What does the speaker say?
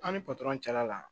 An ni patɔrɔn cɛla la